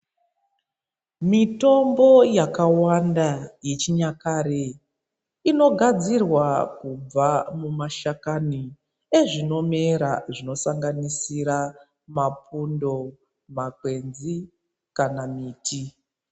Mitombo yakawanda yechinyakare, inogadzirwa kubva mumashakani, ezvinomera zvinosanganisira mapundo, makwenzi kana miti.